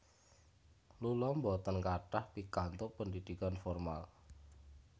Lula boten kathah pikantuk pendidikan formal